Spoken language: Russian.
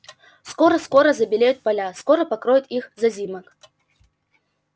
скоро-скоро забелеют поля скоро покроет их зазимок